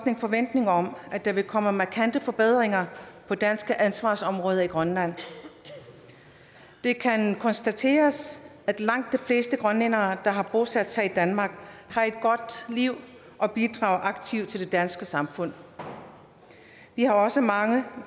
en forventning om at der vil komme markante forbedringer på danske ansvarsområder i grønland det kan konstateres at langt de fleste grønlændere der har bosat sig i danmark har et godt liv og bidrager aktivt til det danske samfund vi har også mange